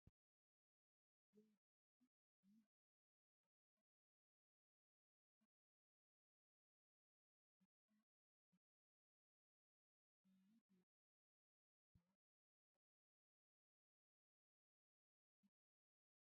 Giyaa giddon miizzata bayzzanaw ehiidoogeeta shammiidi de'iyaa cora asay gatiyaa wachchiidinne qassi maayyidooga qonccissanaw yerettiidi de'oosona shin asay keehippe cora.